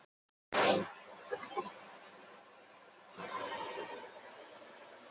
Ýmsar nytjaplöntur eins og hveiti eru einærar.